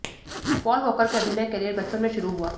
Paul Walker के अभिनय career बचपन में शुरू हुआ